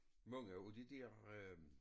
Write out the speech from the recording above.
Mange af det dér øh